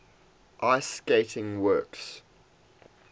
ice skating works